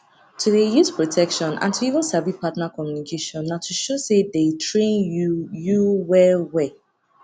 to dey use protection and to even sabi partner communication na to show say dey train you you well well